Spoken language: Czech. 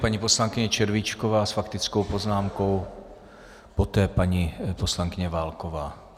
Paní poslankyně Červíčková s faktickou poznámkou, poté paní poslankyně Válková.